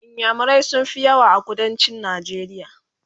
inyamurai sun Fi yawa a kuduncin najeriya